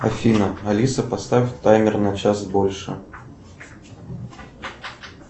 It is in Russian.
афина алиса поставь таймер на час больше